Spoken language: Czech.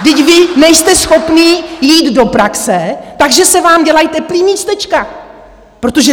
Vždyť vy nejste schopní jít do praxe, takže se vám dělají teplá místečka.